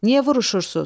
Niyə vuruşursunuz?